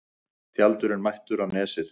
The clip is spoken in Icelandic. Tjaldurinn mættur á Nesið